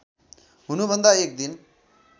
हुनुभन्दा एक दिन